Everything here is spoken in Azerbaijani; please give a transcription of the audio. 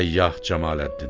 Səyyah Cəmaləddin.